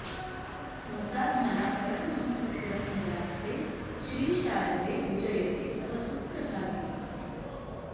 हंसात्मना परमहंसकुलं मुदास्ते श्री शारदे विजयते तव सुप्रभातम्